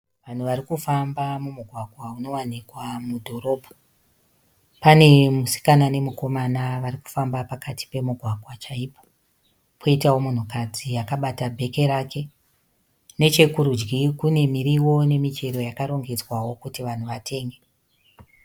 Vanhu varikufamba mumugwagwa unowanikwa mudhorobha. Pane musikana nemukomana varikufamba pakati pemugwagwa chaipo. Poitawo munhukadzi akabata bheki rake. Nechekurudyi kune miriwo nemichero yakarongedzwawo kuti vanhu vatenge.